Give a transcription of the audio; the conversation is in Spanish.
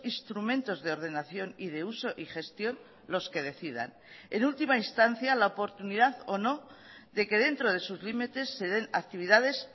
instrumentos de ordenación y de uso y gestión los que decidan en última instancia la oportunidad o no de que dentro de sus limites se den actividades